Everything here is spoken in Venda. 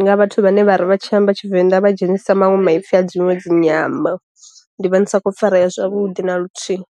nga vhathu vhane vhari vha tshi amba tshivenda vha dzhenisa maṅwe maipfi a dziṅwe dzi nyambo, ndi vha ndi sa kho farea zwavhuḓi na luthihi.